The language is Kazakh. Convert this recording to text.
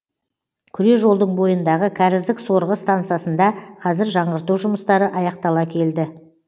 күре жолдың бойындағы кәріздік сорғы стансасында қазір жаңғырту жұмыстары аяқтала келді